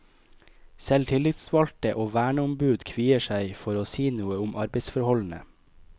Selv tillitsvalgte og verneombud kvier seg for å si noe om arbeidsforholdene.